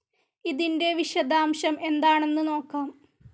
ഇതിൻ്റെ വിശദാംശം എന്താണെന്ന് നോക്കാം.